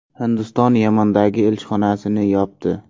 Hindiston Yamandagi elchixonasi yopdi.